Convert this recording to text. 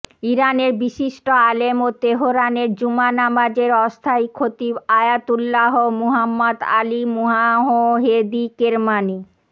ইরানের বিশিষ্ট আলেম ও তেহরানের জুমা নামাজের অস্থায়ী খতিব আয়াতুল্লাহ মুহাম্মাদ আলী মুওয়াহহেদি কেরমানি